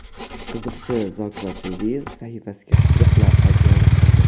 Qiziqchi Zokir Ochildiyev sahifasiga qiziq lavha joylashtirdi.